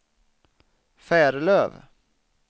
Färlöv